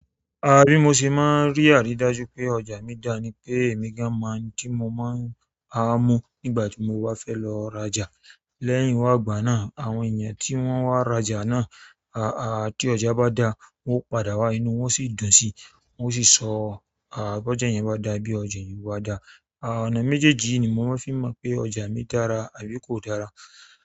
Àh bi mo ṣe má ń rí àrídájú pé ọjà mi dá ni pé èmi gan-an mọ nti mo máa ń hàá mù nígbà tí mo wá fẹ́ lọ rajà. Lẹ́yìn wá igbánáà, àwọn èèyan tí wọ́n wá rajà náà, àá, ti ọjà bá dáa, wọ́n ó padà wá inú wọ́n sì dùn sí, wọ́n o sì sọ àá, bọ́ja eeyan bá dáa, bí ọjà eeyan o bá dáa. Àá, ọ̀nà méjéjì yi ni mo má ń fi mọ̀ pé ọjà mi dára àbí kò dára.